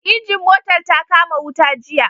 Injin motar ta kama wuta jiya